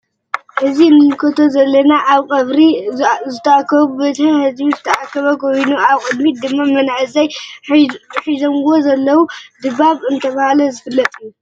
እዚ እንምልከቶ ዘለና አብ ቀብሪ ዝተአከቡ ብበዝሒ ህዝቢ ዝተአከበ ኮይኑ አብ ቅድሚት ድማ መናእሰይ ሒዞምዎ ዘለው ድባብ እናተባህለ ዝፍለጥ እዩ።